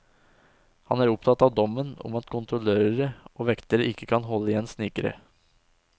Han er opptatt av dommen om at kontrollører og vektere ikke kan holde igjen snikere.